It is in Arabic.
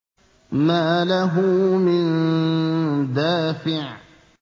مَّا لَهُ مِن دَافِعٍ